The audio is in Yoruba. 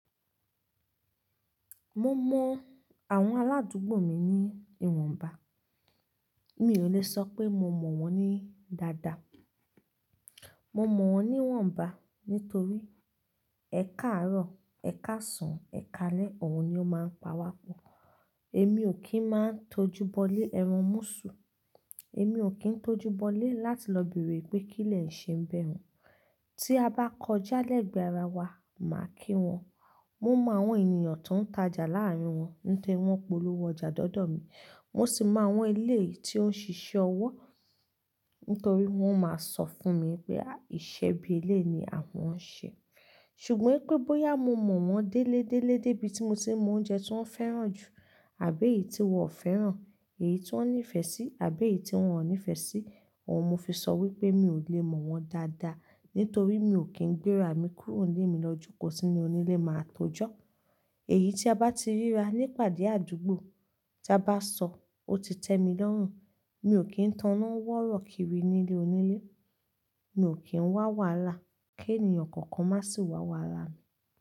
Mo mọ àwọn aládùúgbò mi ní ìwọ̀nba, mi ò lè sọ pé mo mọ̀ wọ́n ní dada. Mo mọ̀ wọ́n ní ìwọ̀nba nítorí ẹ̀ka àárọ̀, ẹ̀ka ọ̀sán, ẹ̀ka alẹ́, òun ni ó máa ń pawá pọ̀. Èmi ò kí ń máa tó júbọlé ẹran mọ́sú. Èmi ò kí ń tó júbọlé láti lọ bèrè pé kí lẹ ń ṣe n bẹ̀ ùn. Tí a bá kọjá lẹ́gbẹ̀ẹ́ ara wa, màá kí wọn. Mo mọ àwọn ènìyàn tó ń tajà láàárin wọn ní kí wọ́n polówó ọjà dọ̀ọ̀dọ̀ mi. Mo sì mọ àwọn eléèyì tó ń ṣiṣẹ́ ọwọ́ nítorí wọ́n máa sọ fún mi pé ìṣe bí eléèyì ni àwọn ń ṣe. Ṣùgbọ́n pé bóyá mo mọ̀ wọ́n délé délé dé bí tí mo ti mọ oúnjẹ tí wọ́n fẹ́ràn jù àbí èyí tí wọ́n ò fẹ́ràn, èyí tí wọ́n nífẹ̀ẹ́ sí àbí èyí tí wọ́n ò nífẹ̀ẹ́ sí, òun ni mo fi sọ wípé mi ò lè mọ̀ wọ́n dada nítorí mi ò kí ń gbéra mi kúrò ní ìmọ̀lójúkó sí inú onílé máa tó jọ́. Èyí tí a bá ti ríra ní pàdé àdúgbò tí a bá sọ ó ti tẹ́mi lọ́rùn, mi ò kí ń taná wọ́rọ̀kírí nílé onílé. Mi ò kí ń wá wàhálà kí ènìyàn kankan má sì wá wàhálà mi.